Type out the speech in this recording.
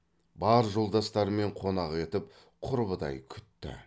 бар жолдастарымен қонақ етіп құрбыдай күтті